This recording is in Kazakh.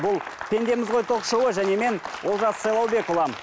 бұл пендеміз ғой ток шоуы және мен олжас сайлаубекұлы